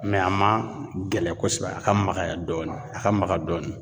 a ma gɛlɛn kosɛbɛ a ka magaya dɔɔni a ka maga dɔɔnin.